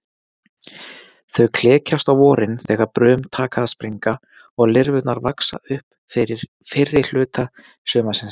Þau klekjast á vorin þegar brum taka að springa og lirfurnar vaxa upp fyrrihluta sumarsins.